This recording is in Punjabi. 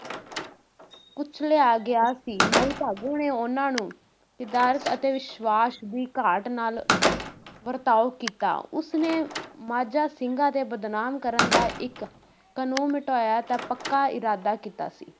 ਕੁਚਲਿਆ ਗਿਆ ਸੀ, ਮਾਈ ਭਾਗੋ ਨੇ ਉਨ੍ਹਾਂ ਨੂੰ ਕਦਾਰਤ ਅਤੇ ਵਿਸ਼ਵਾਸ ਦੀ ਘਾਟ ਨਾਲ ਵਰਤਾਓ ਕੀਤਾ, ਉਸਨੇ ਮਾਝਾ ਸਿੰਘਾਂ ‘ਤੇ ਬਦਨਾਮ ਕਰਨ ਦਾ ਇੱਕ ਮਿਟਾਇਆ ਤਾਂ ਪੱਕਾ ਇਰਾਦਾ ਕੀਤਾ ਸੀ